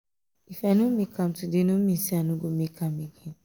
if i no make am today no mean say i no go make am again.